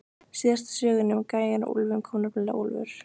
Síðast í sögunni um gæjann og úlfinn kom nefnilega úlfur.